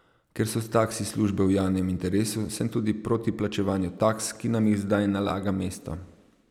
Ker so taksi službe v javnem interesu, sem tudi proti plačevanju taks, ki nam jih zdaj nalaga mesto.